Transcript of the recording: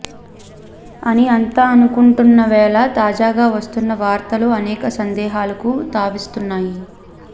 అని అంతా అనుకుంటున్న వేళ తాజాగా వస్తున్న వార్తలు అనేక సందేహాలకు తావిస్తున్నాయి